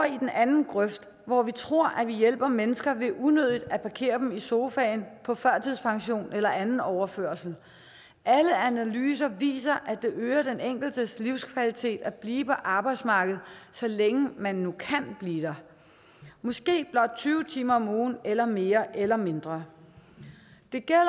i den anden grøft hvor vi tror at vi hjælper mennesker ved unødigt at parkere dem i sofaen på førtidspension eller anden overførsel alle analyser viser at det øger den enkeltes livskvalitet at blive på arbejdsmarkedet så længe man nu kan blive der måske blot tyve timer om ugen eller mere eller mindre det gælder